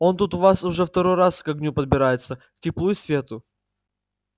он тут у вас уже второй раз к огню подбирается к теплу и свету